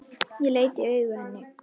Ég leit í augu henni.